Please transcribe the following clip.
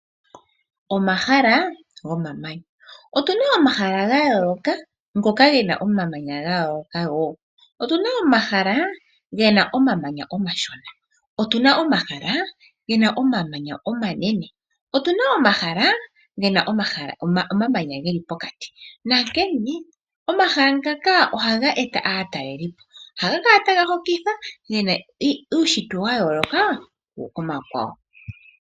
Omahala gomamanya. Otu na omahala gayooka ngoka ge na omamanya gayooloka woo. Omahala gamwe oge na omamanya omashona, gamwe omanene nomakwawo oge na omamanya geli pokati. Omahala ngaka oha ga eta aatalelilipo molwaashoka oha ga kala taga hokitha omolwa uushintwe mboka wayooloka.